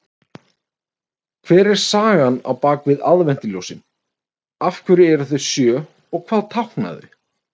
Hver er sagan bak við aðventuljósin, af hverju eru þau sjö og hvað tákna þau?